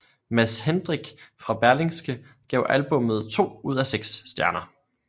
Mads Hendrich fra Berlingske gav albummet to ud af seks stjerner